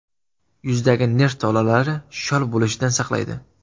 Yuzdagi nerv tolalari shol bo‘lishidan saqlaydi.